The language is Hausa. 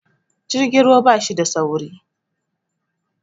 Jirgin ruwa bashi da sauri